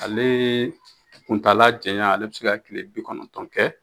Ale kuntaala janya ale bɛ se ka kile bi kɔnɔntɔn kɛ.